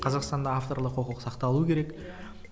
қазақстанда авторлық құқық сақталуы керек иә